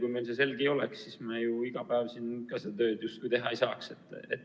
Kui meile see selge ei oleks, siis me ju iga päev siin oma tööd justkui teha ei saaks.